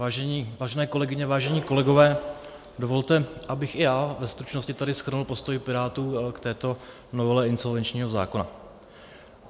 Vážené kolegyně, vážení kolegové, dovolte, abych i já ve stručnosti tady shrnul postoj Pirátů k této novele insolvenčního zákona.